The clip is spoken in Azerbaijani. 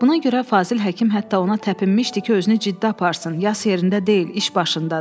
Buna görə Fazil Həkim hətta ona təpinmişdi ki, özünü ciddi aparsın, yas yerində deyil, iş başındadır.